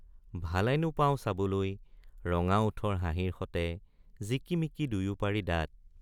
ভালেনো পাও চাবলৈ ৰঙা ওঠৰ হাঁহিৰ সতে জিকি মিকি দুয়োপাৰি দাঁত।